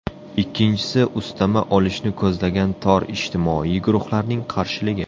Ikkinchisi ustama olishni ko‘zlagan tor ijtimoiy guruhlarning qarshiligi.